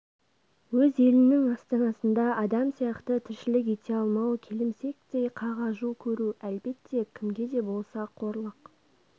өз елінің астанасында адам сияқты тіршілік ете алмау келімсектей қағажу көру әлбетте кімге де болса қорлық